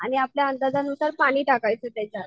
आणि आपल्या अंदाज नुसार पाणी टाकायचं त्याच्यात.